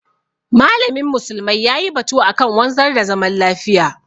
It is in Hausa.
malamin musulmai yayi batu akan wanzar da zaman lafiya.